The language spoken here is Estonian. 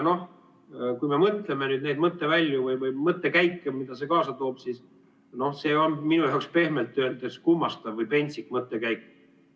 No kui me mõtleme nüüd neid mõttevälju või mõttekäike, mida see kaasa toob, siis see on minu jaoks pehmelt öeldes kummastav või pentsik mõttekäik.